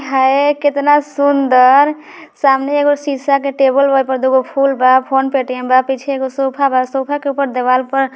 है केतना सुंदर । सामने एगो सीसा के टेबल बा। ओईपर दुगो फूल बा। फोन पेयटीएम बा। पीछे एगो सोफा बा। सोफा के ऊपर देवाल पर ---